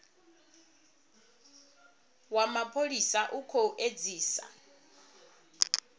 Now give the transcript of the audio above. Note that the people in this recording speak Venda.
wa mapholisa u khou edzisa